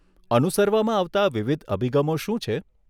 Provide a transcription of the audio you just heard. અનુસરવામાં આવતા વિવિધ અભિગમો શું છે?